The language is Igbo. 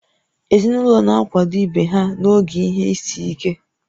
Ezinụlọ na-akwado ibe ha n'oge ihe isi ike